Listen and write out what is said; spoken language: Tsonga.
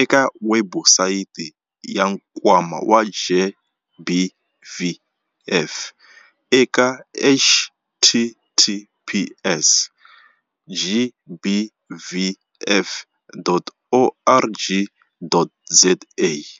eka webusayiti ya Nkwama wa GBVF eka-https- gbvf.org.za-.